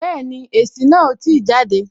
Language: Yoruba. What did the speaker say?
Bẹẹni, èsì náà o ti jade